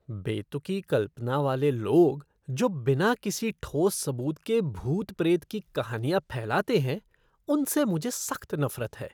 बेतुकी कल्पना वाले लोग जो बिना किसी ठोस सबूत के भूत प्रेत की कहानियाँ फैलाते हैं, उनसे मुझे सख्त नफ़रत है।